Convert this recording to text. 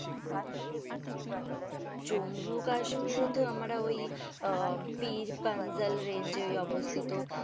জম্বু কাশ্মীরে তো আমরা ওই আহ পিরপাঞ্জাল রেঞ্জে ওই অবস্থিত,